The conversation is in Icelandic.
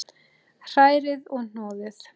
Hrærið og hnoðið.